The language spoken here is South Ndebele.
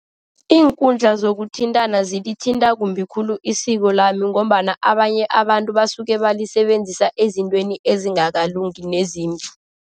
Iinkundla zokuthintana zilithinta kumbi khulu isiko lami ngombana abanye abantu basuke balisebenzisa ezintweni ezingakalungi nezimbi.